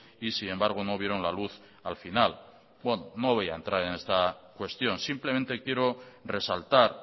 y sin embargo no vieron la luz al final bueno no voy a entrar en esta cuestión simplemente quiero resaltar